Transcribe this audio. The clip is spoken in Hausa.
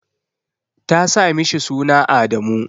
ta sa mishi suna Adamu.